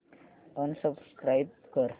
unsubscribe कर